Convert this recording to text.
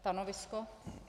Stanovisko.